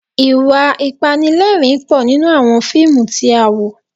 Ìwà Ìpanilẹ́rìn-ín pọ̀ nínú àwọn fíìmù tí a wò